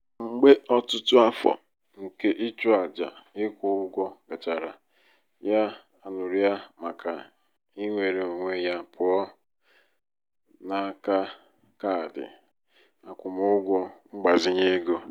ọ na-eziga nne ya lara ezumike nká nari dọla ise n'akaụtụ ụlọ akụ ya kwa ọnwa.